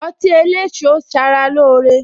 Ọtí eléso sara lóore